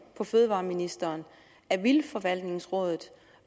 på fødevareministeren at vildtforvaltningsrådet